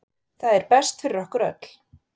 Það er best fyrir okkur öll.